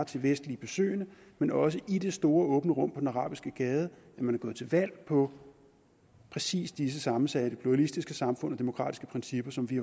til vestlige besøgende men også i det store åbne rum på den arabiske gade at man er gået til valg på præcis disse sammensatte pluralistiske samfund og demokratiske principper som vi